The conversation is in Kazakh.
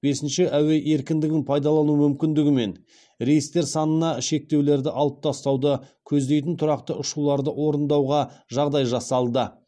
бесінші әуе еркіндігін пайдалану мүмкіндігімен рейстер санына шектеулерді алып тастауды көздейтін тұрақты ұшуларды орындауға жағдай жасалды